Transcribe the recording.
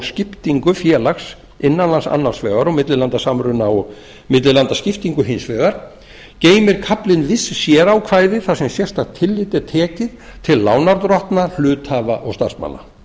skiptingu félags innan lands annars vegar og millilandasamruna og millilandaskiptingu hins vegar geymir kaflinn viss sérákvæði þar sem sérstakt tillit er tekið til lánardrottna hluthafa og starfsmanna